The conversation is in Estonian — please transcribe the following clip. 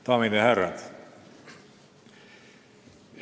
Daamid ja härrad!